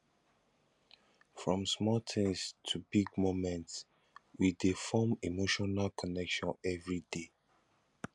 from small things to big moments we dey form emotional connection everyday